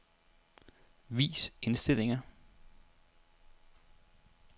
Vis indstillinger.